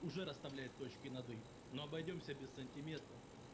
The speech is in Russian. уже расставляем точки над и но обойдёмся без сантиментов